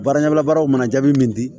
Baara ɲɛbila baaraw mana jaabi min di